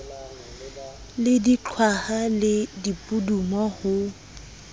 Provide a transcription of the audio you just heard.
le diqhwaha le dipudumo ho